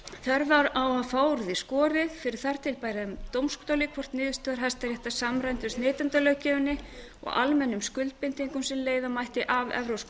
að fá úr því skorið fyrir þar til bærum dómstóli hvort niðurstöður hæstaréttar samræmdust neytendalöggjöfinni og almennum skuldbindingum sem leiða mætti af evrópskum